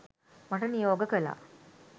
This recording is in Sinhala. මට නියෝග කළා